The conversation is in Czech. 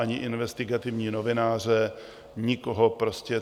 Ani investigativní novináře, nikoho prostě.